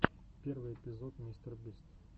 первый эпизод мистер бист